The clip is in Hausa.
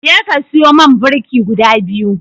Jeka ka siyo man birki guda biyu.